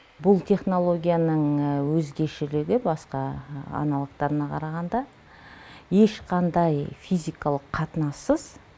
бұл технологияның өзгешілігі басқа аналогтарына қарағанда ешқандай физикалық қатынассыз